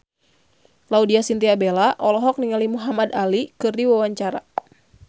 Laudya Chintya Bella olohok ningali Muhamad Ali keur diwawancara